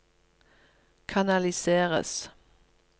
kanaliseres